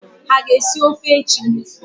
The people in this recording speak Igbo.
Ha aga-esi ọfe echi?